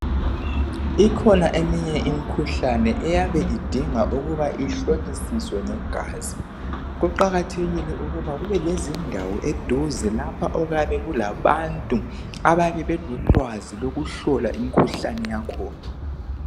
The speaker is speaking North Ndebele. Ikhona eminye imkhuhlane eyabe idinga ukuba ihlolisiswe ngegazi. Kuqakathekile ukuba kube lezindawo eduze lapha okuyabe kulabantu ababe belolwazi lokuhlola imkhuhlane yakhona.